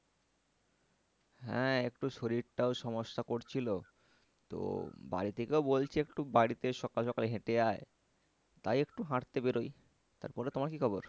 হ্যাঁ একটু শরীরটাও সমস্যা করছিলো তো বাড়ি থেকেও বলছে একটু বাড়িতে সকাল সকাল হেঁটে আয় তাই একটু হাঁটতে বেরোই তারপরে তোমার কি খবর?